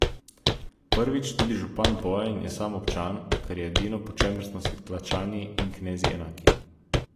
Prvič, tudi župan Bojan je samo občan, kar je edino, po čemer smo si tlačani in knezi enaki.